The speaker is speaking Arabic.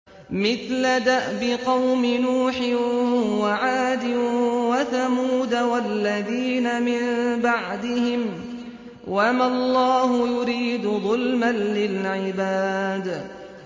مِثْلَ دَأْبِ قَوْمِ نُوحٍ وَعَادٍ وَثَمُودَ وَالَّذِينَ مِن بَعْدِهِمْ ۚ وَمَا اللَّهُ يُرِيدُ ظُلْمًا لِّلْعِبَادِ